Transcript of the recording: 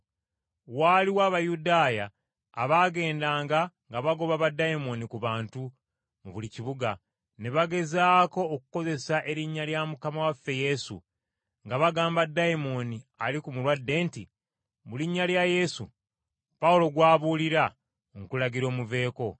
Waaliwo Abayudaaya abaagendanga nga bagoba baddayimooni ku bantu mu buli kibuga, ne bagezaako okukozesa erinnya lya Mukama waffe Yesu, nga bagamba dayimooni ali ku mulwadde nti, “Mu linnya lya Yesu, Pawulo gw’abuulira, nkulagira omuveeko.”